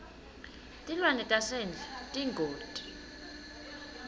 tilwane tasendle tiyingoti